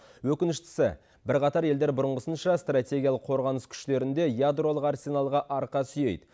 өкініштісі бірқатар елдер бұрынғысынша стратегиялық қорғаныс күштерінде ядролық арсеналға арқа сүйейді